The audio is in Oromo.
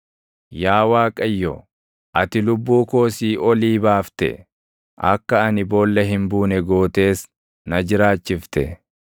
Yaa Waaqayyo, ati lubbuu koo siiʼoolii baafte; akka ani boolla hin buune gootees na jiraachifte.